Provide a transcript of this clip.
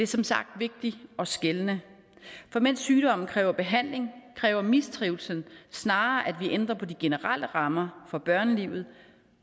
som sagt vigtigt at skelne for mens sygdom kræver behandling kræver mistrivsel snarere at vi ændrer på de generelle rammer for børnelivet